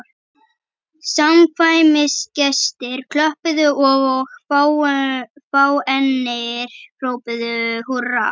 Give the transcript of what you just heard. Samkvæmisgestir klöppuðu og fáeinir hrópuðu húrra.